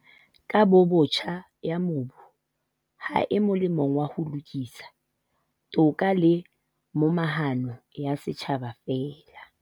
"Kabobotjha ya mobu ha e molemong wa ho lokisa, toka le momahano ya setjhaba feela."